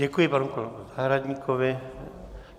Děkuji panu kolegovi Zahradníkovi.